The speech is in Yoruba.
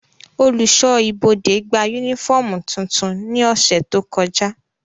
Oluṣọ ibode gba unifọmú tuntun ni ọsẹ to kọja.